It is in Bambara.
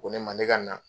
Ko ne ma ne ka na